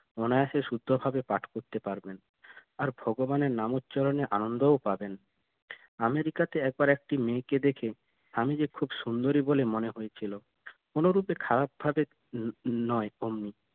অনায়াসে শুদ্ধ ভাবে পাঠ করতে পারবেন আর ভগবানের নাম উচ্চারণে আনন্দ ও পাবেন আমেরিকা তে একবার একটি মেয়ে কে দেখে স্বামীজি খুব সুন্দরি বলে মনে হয়েছিল কোনো রূপে খারাপ ভাবে নয় অমনি